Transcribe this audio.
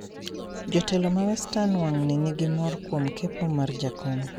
jotelo ma western wang`ni nigi mor kuom kepo mar jakom